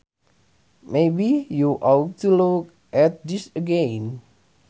Maybe you ought to look at this again